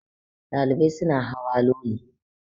Ɗalibai suna hawa Loli